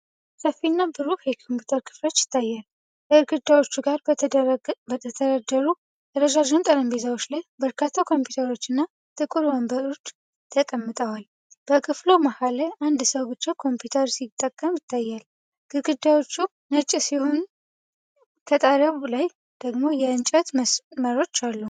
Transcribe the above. ሰፊና ብሩህ የኮምፒውተር ክፍል ይታያል። ከግድግዳዎቹ ጋር በተደረደሩ ረዣዥም ጠረጴዛዎች ላይ በርካታ ኮምፒውተሮች እና ጥቁር ወንበሮች ተቀምጠዋል። በክፍሉ መሃል ላይ አንድ ሰው ብቻ ኮምፒውተር ሲጠቀም ይታያል። ግድግዳዎቹ ነጭ ሲሆኑ፣ ከጣሪያው ላይ ደግሞ የእንጨት መስመሮች አሉ።